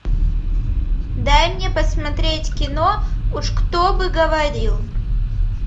дай мне посмотреть кино уж кто бы говорил